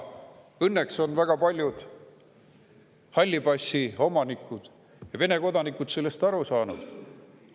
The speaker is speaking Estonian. Õnneks on väga paljud halli passi omanikud ja Vene kodanikud sellest aru saanud.